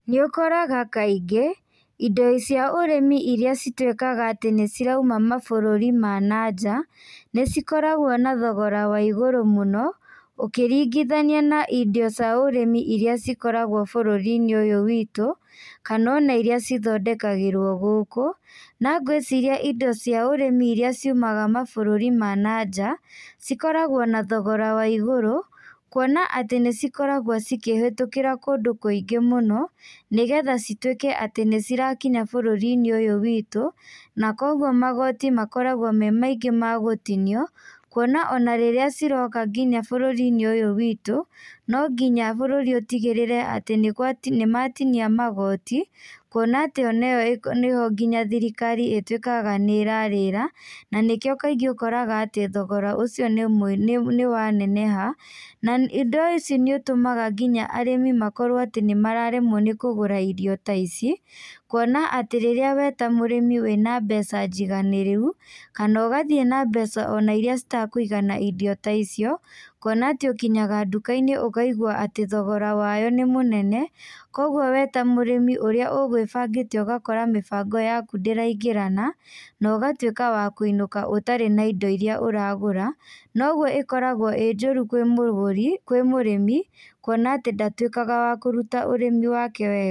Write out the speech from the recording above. Nĩũkoraga kaingĩ, indo cia ũrĩmi iria cituĩkaga atĩ nĩcirauma mabũrũri ma na nja, nĩcikoragwo na thogora wa igũrũ mũno, ũkĩringithania na indo cia ũrĩmi ĩrĩa cikoragwo bũrũri-inĩ ũyũ witũ, kana ona iria cithondekagĩrwo gũkũ, na ngwĩciria indo cia ũrĩmi iria ciumaga mabũrũri ma na nja, cikoragwo na thogora wa igũrũ, kuona atĩ nĩcikoragwo cikĩhetũkĩra kũndũ kũingĩ mũno, nĩgetha cituĩke atĩ nĩcirakinya bũrũri-inĩ ũyũ witũ, na koguo magoti makoragwo me maingĩ magũtinio, kuona ona rĩrĩa ciroka nginya bũrũri-inĩ ũyũ witũ, no nginya bũrũri ũtigĩrĩre atĩ nĩgwati nĩmatinia magoti, kuona atĩ ona ĩyo nĩho nginya thirikari ĩtuĩkaga nĩrarĩra, na nĩkĩo kaingĩ ũkoraga atĩ thogoro ũcio nĩ nĩwaneneha, na indo ici nĩ ũtũmaga nginya arĩmi makorwo atĩ nĩmararemwo kũgũra indo ta ici, kuona atĩ rĩrĩa we ta mũrĩmi wĩna mbeca njiganĩrĩru, kana ũgathiĩ na mbeca ona iria citakũigana irio ta icio, kuona atĩ ũkinyaga nduka-inĩ ũkaigua atĩ thogora wayo nĩ mũnene, koguo we ta mũrĩmi ũrĩa ũgwĩbangĩte ũgakora mĩbango yaku ndĩraigĩrana, na ũgatuĩka wa kũinũka ũtarĩ na indo iria ũragũra, na ũguo ĩkoragwo ĩ njũru kwĩ mũgũri, kwĩ mũrĩmi, kuona atĩ ndatuĩkaga wa kũruta ũrĩmi wake wega.